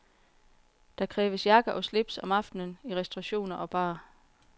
Der kræves jakke og slips om aftenen i restaurationer og bar.